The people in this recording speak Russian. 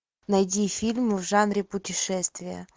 найди фильм в жанре путешествия